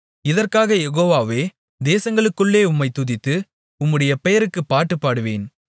இதற்காக யெகோவாவே தேசங்களுக்குள்ளே உம்மைத் துதித்து உம்முடைய பெயருக்கு பாட்டு பாடுவேன்